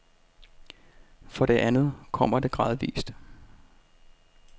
For det andet kommer det gradvis.